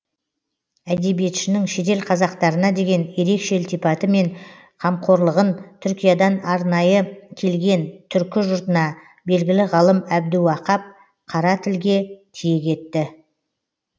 әдебиетшінің шетел қазақтарына деген ерекше ілтипаты пен қамқорлығын түркиядан арнайы келген түркі жұртына белгілі ғалым әбдіуақап қара тілге тиек етті